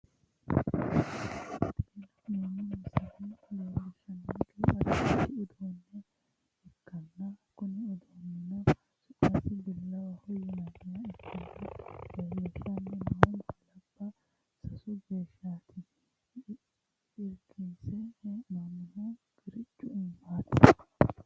Tini la'neemmo misile leellishshannohu addi addi uduunne ikkanna, kuni uduunnichino su'masino bilawaho yinanniha ikkanna, leellanni no billabbano sasu geeshshaati, irkise hee'noonnihuno qiriccu iimaati.